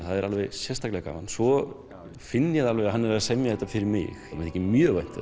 er sérstaklega gaman svo finn ég alveg að hann er að semja þetta fyrir mig mér þykir mjög vænt